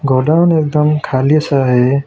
Godown एकदम खाली सा है।